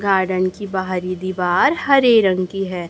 Garden की बाहरी दीवार हरे रंग की है।